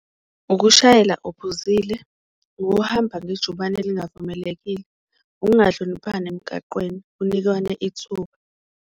Ukushayela uphuzile, ukuhamba ngejubane olingavumelekile, ukungahloniphani emgaqweni kunikwane ithuba.